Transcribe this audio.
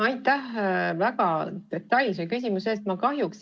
Aitäh väga detailse küsimuse eest!